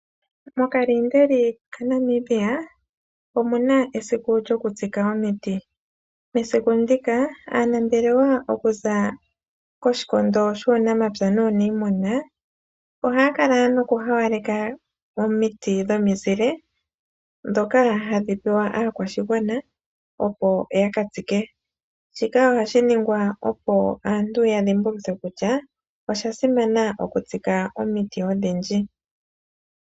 Mokaliindeli kaNamibia omuna esiku lyokutsika omiti, mesiku ndika aanambelewa okuza koshikondo shuunamapya nuunimuna ohaya kala noku haaleka omiti dhomizile dhoka hadhi pewa aakwashigwana opo yaka tsike, shika ohashi ningwa noku dhimbulukitha aantu kutya osha simana okutsika omiti odhindji.